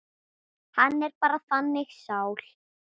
Hann er bara þannig sál.